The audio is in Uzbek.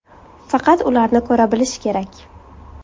Faqat ularni ko‘ra bilish kerak.